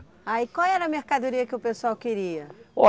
Ah, e qual era a mercadoria que o pessoal queria?